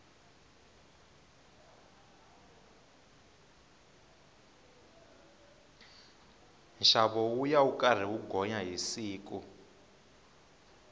nxavo wuya wu karhi wu gonya hi siku